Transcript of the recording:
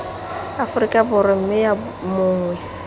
aforika borwa mme yo mongwe